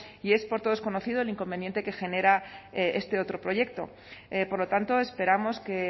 y es por todos conocido el inconveniente que genera este otro proyecto por lo tanto esperamos que